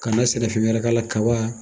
Kana sɛnɛ fɛn wɛrɛ kala la kaba.